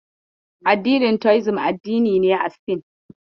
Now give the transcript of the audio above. Addinin Taoism, addini ne a Sin.